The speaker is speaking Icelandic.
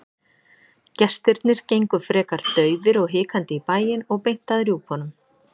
Gestirnir gengu frekar daufir og hikandi í bæinn og beint að rjúpunum.